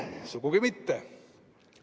Sugugi mitte!